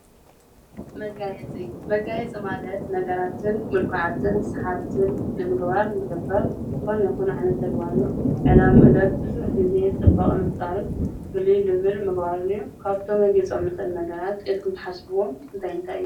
መጋየፂ- መጋየፂ ማለት ነጋራትን ምልኩዓትን ሰሓብትን ንምግባር ልግበር ዝኾነ ይኹን ዓይነት ተግባር እዩ፡፡ ዕላምኡ ለ ብዙሕ ግዜ ፅባቐ ምፍጣርን ፍልይ ልብል ምግባር እዩ፡፡ ካብቶም ክነግይፆም ንክእሉ ነገራት ኢልኩም ትሓስብዎም ነገራት እንታይ እንታይ እዩ?